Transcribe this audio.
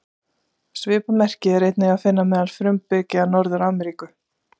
Svipað merki er einnig að finna meðal frumbyggja Norður-Ameríku.